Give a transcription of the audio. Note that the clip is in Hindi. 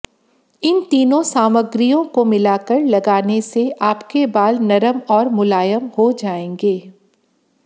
इन तीनों सामग्रियों को मिलाकर लगाने से आपके बाल नरम और मुलायम हो जाएंगे